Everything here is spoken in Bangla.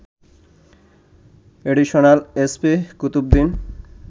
additional SP Qutubuddin